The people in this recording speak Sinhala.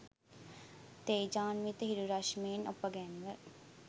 තේජාන්විත හිරු රශ්මියෙන් ඔපගැන්ව